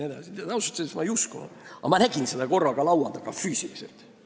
Ausalt öeldes ma ei uskunud seda, aga korraga ma nägin seda laua taga füüsiliselt.